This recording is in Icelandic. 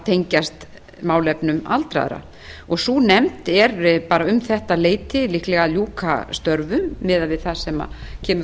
tengjast málefnum aldraðra sú nefnd er bara um þetta leyti líklega að ljúka störfum miðað við það sem kemur